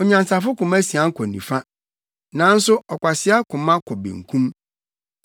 Onyansafo koma sian kɔ nifa, nanso ɔkwasea koma kɔ benkum.